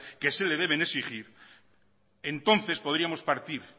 que se le deben de exigir entonces podríamos partir